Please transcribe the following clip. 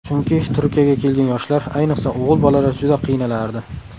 Chunki Turkiyaga kelgan yoshlar, ayniqsa, o‘g‘il bolalar juda qiynalardi.